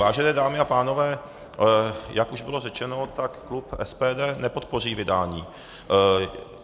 Vážené dámy a pánové, jak už bylo řečeno, tak klub SPD nepodpoří vydání.